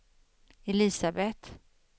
Elisabet